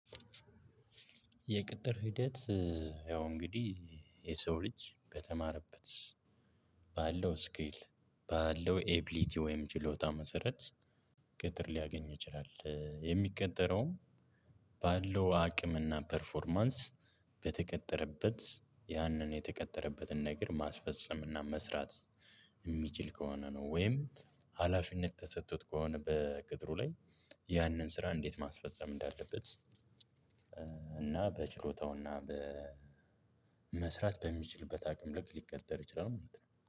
የቅጥር ሂደት። ያው እንግዲህ የሰው ልጅ በተማረበት ባለው ስኪል ባለው ኤቢሊቲ ወይም ችሎታ መሰረት ቅጥር ሊያገኝ ይችላል። የሚቀጠረውም ባለው አቅምና ፐርፎርማንስ በተቀጠረበት ያንን የተቀጠረበትን ነገር ማስፈጸም እና መስራት የሚችል ከሆነ ነው። ወይም ሀላፊነት ተሰጥቶት ከሆነ በቅጥሩ ላይ ያንን ስራ እንዴት ማስፈጸም እንዳለበት። እና በችሎታውና በ መስራት በሚችልበት አቅም ልክ ሊቀጠር ይችላል ማለት ነው